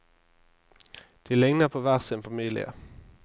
De ligner på hver sin familie.